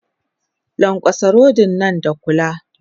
Lankwatsa rodin nan da kula!